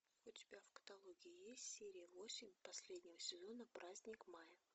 у тебя в каталоге есть серия восемь последнего сезона праздник мая